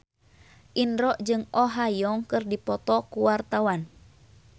Indro jeung Oh Ha Young keur dipoto ku wartawan